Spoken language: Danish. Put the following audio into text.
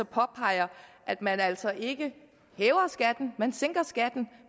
påpeger at man altså ikke hæver skatten man sænker skatten